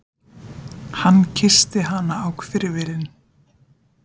Hann kyssti hana á hvirfilinn.